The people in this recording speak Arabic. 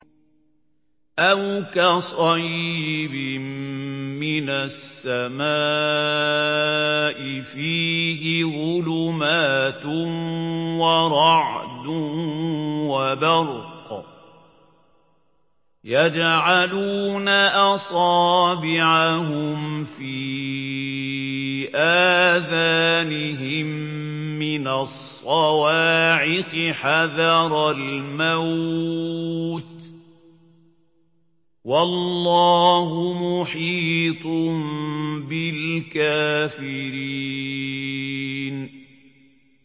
أَوْ كَصَيِّبٍ مِّنَ السَّمَاءِ فِيهِ ظُلُمَاتٌ وَرَعْدٌ وَبَرْقٌ يَجْعَلُونَ أَصَابِعَهُمْ فِي آذَانِهِم مِّنَ الصَّوَاعِقِ حَذَرَ الْمَوْتِ ۚ وَاللَّهُ مُحِيطٌ بِالْكَافِرِينَ